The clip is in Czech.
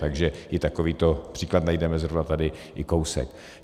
Takže i takovýto příklad najdeme zrovna tady i kousek.